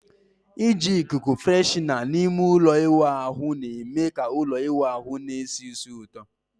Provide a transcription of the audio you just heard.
Iji ikuku freshener na ime ụlọ ịwụ ahu na-eme ka ụlọ ịwụ ahụ na-esi ísì ụtọ